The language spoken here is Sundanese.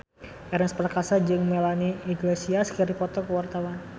Ernest Prakasa jeung Melanie Iglesias keur dipoto ku wartawan